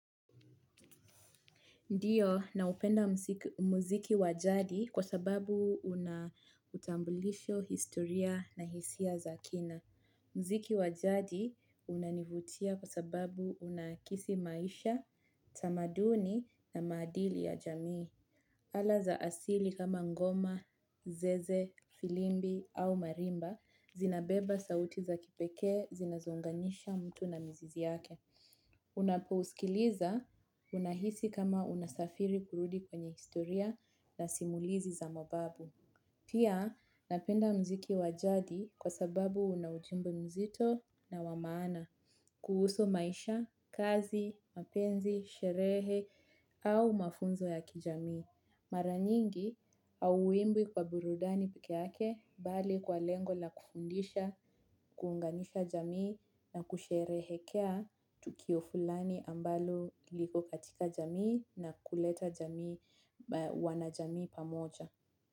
Ndio, naupenda muziki wajadi kwa sababu una utambulisho historia na hisia za kina. Muziki wa jadi unanivutia kwa sababu unakisi maisha, tamaduni na maadili ya jamii. Ala za asili kama ngoma, zeze, filimbi au marimba, zinabeba sauti za kipekee, zinazo unganisha mtu na mzizi yake. Unapo uskiliza unahisi kama unasafiri kurudi kwenye historia na simulizi za mababu. Pia napenda muziki wa jadi kwa sababu una ujumbe mzito na wa maana. Kuhusu maisha, kazi, mapenzi, sherehe au mafunzo ya kijamii. Mara nyingi hauimbwi kwa burudani peke yake bali kwa lengo la kufundisha, kuunganisha jamii na kusherehekea tukio fulani ambalo liko katika jamii na kuleta wanajamii pamoja.